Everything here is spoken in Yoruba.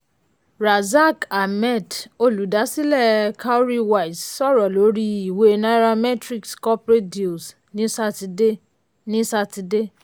razaq ahmed olùdásílẹ̀ cowrywise sọ̀rọ̀ lórí ìwé nairametrics corporate deals ní sátidé ní sátidé.